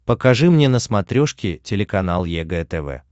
покажи мне на смотрешке телеканал егэ тв